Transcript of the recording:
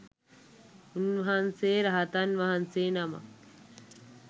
උන්වහන්සේ රහතන් වහන්සේ නමක්